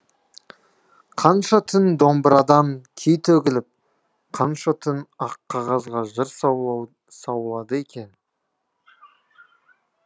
қанша түн домбырадан күй төгіліп қанша түн ақ қағазға жыр саулады екен